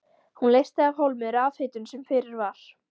Hún leysti af hólmi rafhitun sem fyrir var.